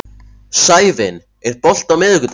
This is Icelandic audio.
Sævin, er bolti á miðvikudaginn?